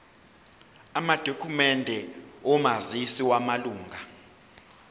amadokhumende omazisi wamalunga